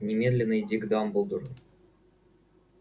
немедленно иди к дамблдору